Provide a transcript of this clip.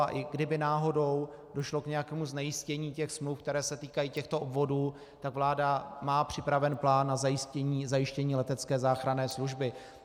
A i kdyby náhodou došlo k nějakému znejistění těch smluv, které se týkají těchto obvodů, tak vláda má připraven plán na zajištění letecké záchranné služby.